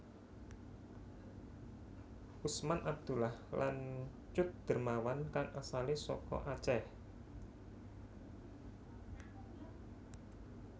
Usman Abdullah lan Cut Dermawan kang asalé saka Acéh